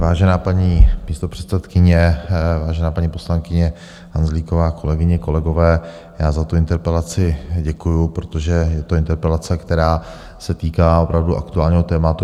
Vážená paní místopředsedkyně, vážená paní poslankyně Hanzlíková, kolegyně, kolegové, já za tu interpelaci děkuji, protože je to interpelace, která se týká opravdu aktuálního tématu.